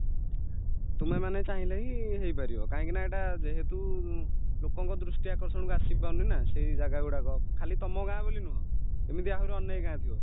ତୁମେମାନେ ଚାହିଁଲେହିଁ ହେଇପାରିବ କାହିଁକିନା ଏଇଟା ଯେହେତୁ ଲୋକଙ୍କ ଦୃଷ୍ଟିଆକର୍ଷଣକୁ ଆସିପାରୁନିନା ସେଇଜାଗା ଗୁଡାକ ଖାଲି ତାମଗାଁ ବୋଲିନୁହଁ ଏମିତି ଆହୁରି ଅନେକ ଗାଁ ଥିବା